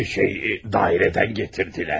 Şey, idarədən gətirdilər.